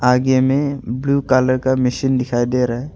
आगे में blue colour का मशीन दिखाई दे रहा है।